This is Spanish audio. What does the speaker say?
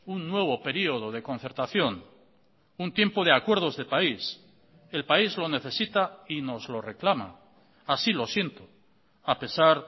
un nuevo periodo de concertación un tiempo de acuerdos de país el país lo necesita y nos lo reclama así lo siento a pesar